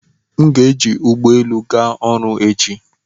M ga-eji ụgbọelu ga ọrụ echi